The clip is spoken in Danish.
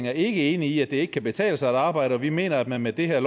er ikke enig i at det ikke kan betale sig at arbejde og vi mener at man med det her